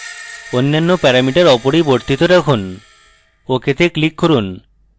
অন্য প্যারামিটার অপরিবর্তিত রাখুন ok তে click করুন